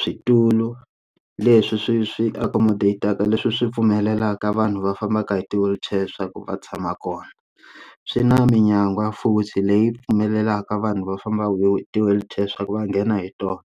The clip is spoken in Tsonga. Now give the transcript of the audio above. switulu leswi swi swi accommodataka leswi swi pfumelelaka vanhu va fambaka hi ti wheelchair swa ku va tshama kona swi na minyangwa futhi leyi pfumelelaka vanhu va fambaka hi ti wheelchair leswaku va nga ngeni hi tona.